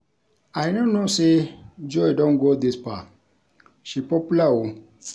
I no know say Joy don go dis far. She popular oo